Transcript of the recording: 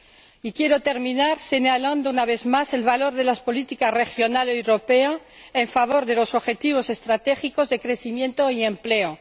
Y quiero terminar señalando una vez más el valor de la política regional europea en favor de los objetivos estratégicos de crecimiento y empleo.